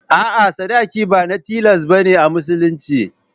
A'a, sadaki ba na tilas ba ne a Musulunci.